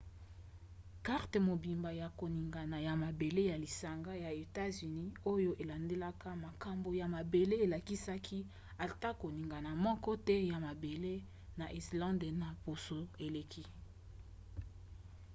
karte mobimba ya koningana ya mabele ya lisanga ya etats-unis oyo elandelaka makambo ya mabele elakisaki ata koningana moko te ya mabele na islande na poso eleki